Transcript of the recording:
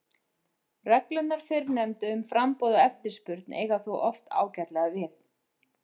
Reglurnar fyrrnefndu um framboð og eftirspurn eiga þó oft ágætlega við.